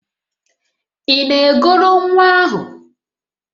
Ị na-egoro nwa ahụ?